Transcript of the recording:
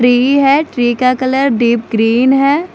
Tree है tree का colour deep green है।